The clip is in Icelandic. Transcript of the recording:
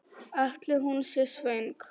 Ætli hún sé svöng?